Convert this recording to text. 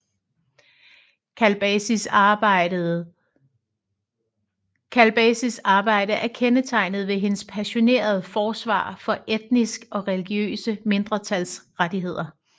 Kalbasis arbejde er kendetegnet ved hendes passionerede forsvar for etniske og religiøse mindretals rettigheder